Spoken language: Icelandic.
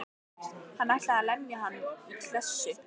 Hann ætlaði að lemja hann í klessu.